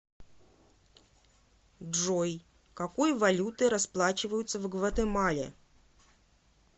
джой какой валютой расплачиваются в гватемале